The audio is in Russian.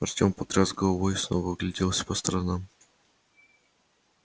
артем потряс головой и снова огляделся по сторонам